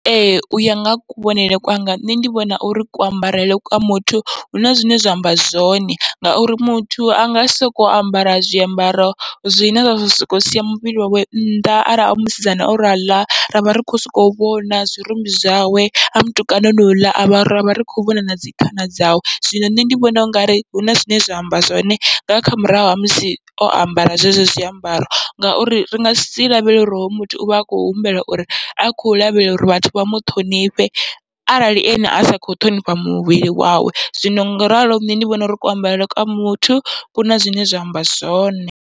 Ee uya nga ha kuvhonele kwanga nṋe ndi vhona uri kuambarele kwa muthu huna zwine zwa amba zwone, ngauri muthu anga sisoko ambara zwiambaro zwine zwa soko sia muvhili wawe nnḓa, arali a musidzana o raḽa ravha ri kho soko vhona zwirumbi zwawe, a mutukana honouḽa avha ravha ri kho vhona nadzi khana dzawe zwino nṋe ndi vhona ungari huna zwine zwa amba zwone nga kha murahu ha musi o ambara zwenezwo zwiambaro. Ngauri ri ngasi lavhelele uri hoyu muthu uvha a kho humbela uri a khou lavhelela uri vhathu vha muṱhonifhe, arali ene asi kho ṱhonifha muvhili wawe zwino ngoralo nṋe ndi vhona uri kuambarele kwa muthu kuna zwine zwa amba zwone.